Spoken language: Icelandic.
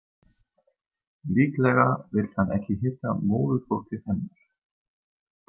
Líklega vill hann ekki hitta móðurfólkið hennar.